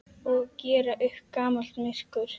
Og gera upp gamalt myrkur.